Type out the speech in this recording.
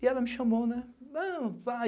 E ela me chamou, né?